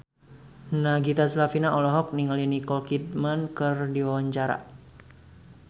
Nagita Slavina olohok ningali Nicole Kidman keur diwawancara